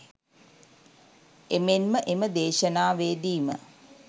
එමෙන්ම එම දේශනාවේදීම